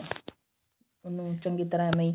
ਉਹਨੂੰ ਚੰਗੀ ਤਰ੍ਹਾਂ ਇਵੇਂ ਹੀ